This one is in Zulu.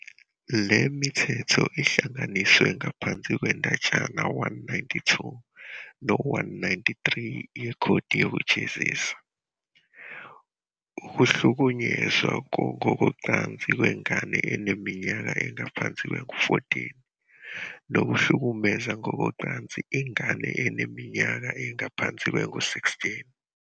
Le mithetho ihlanganiswe ngaphansi kwendatshana 192 no-193 yekhodi yokujezisa - ukuhlukunyezwa ngokocansi kwengane eneminyaka engaphansi kwengu-14, nokuhlukumeza ngokocansi ingane eneminyaka engaphansi kwengu-16.